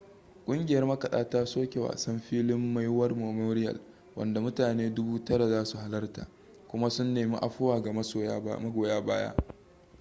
ƙungiyar makaɗa ta soke wasan filin maui war memorial wanda mutane 9,000 za su halarta kuma sun nemi afuwa ga magoya baya